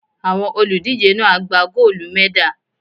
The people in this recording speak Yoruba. Àwọn olùdíje náà á gba góólù mẹ́dà.